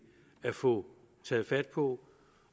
at få taget fat på